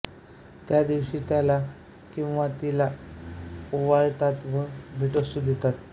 त्यादिवशी त्याला किंवा तिला ओवाळतात व भेटवस्तू देतात